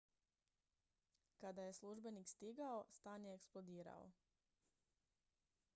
kada je službenik stigao stan je eksplodirao